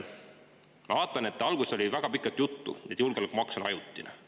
Ma vaatan, et alguses oli väga pikalt juttu sellest, et julgeolekumaks on ajutine.